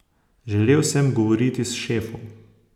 Želel sem govoriti s šefom.